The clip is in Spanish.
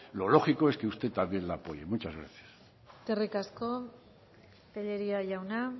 lo lógico es que usted también la apoye muchas gracias eskerrik asko tellería jauna